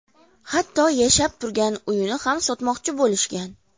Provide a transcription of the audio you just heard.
Hatto yashab turgan uyini ham sotmoqchi bo‘lishgan.